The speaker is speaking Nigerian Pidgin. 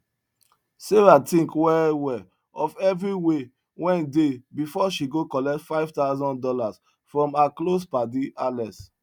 sarah tink well well of everi way wen de before she go collect 5000 dollas from her close padi alex